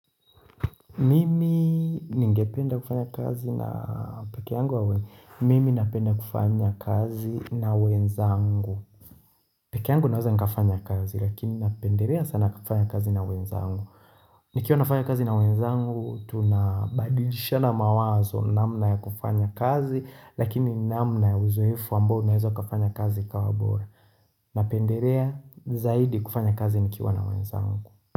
Mimi ningependa kufanya kazi na peke yangu wawe. Mimi napenda kufanya kazi na wenzangu. Peke yangu naweza nikafanya kazi lakini napendelea sana kufanya kazi na wenzangu. Nikiwa nafanya kazi na wenzangu, tunabadilishana mawazo namna ya kufanya kazi lakini namna ya uzoefu ambao unaeza kufanya kazi ikawa bora. Napenderea zaidi kufanya kazi nikiwa na wenzangu.